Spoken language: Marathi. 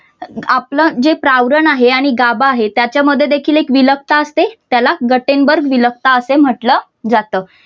आपलं जे प्रावरण आहे आणि गाभा आहे त्याच्यामध्ये देखील एक विलकता असते त्याला गट्टेम्बर विलकता असे म्हटलं जात.